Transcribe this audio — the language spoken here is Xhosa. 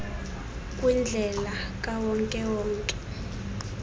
kwindlela kawonke wonke